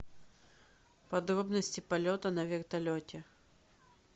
подробности полета на вертолете